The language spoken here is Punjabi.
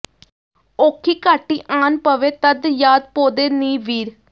ਔਖੀ ਘਾਟੀ ਆਨ ਪਵੇ ਤਦ ਯਾਦ ਪੌਂਦੇ ਨੀ ਵੀਰ